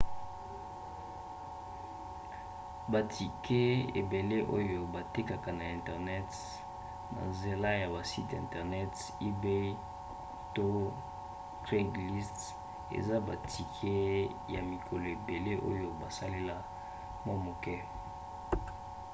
batike ebele oyo batekaka na internet na nzela ya basite internet ebay to craigslist eza batike ya mikolo ebele oyo basalela mwa moke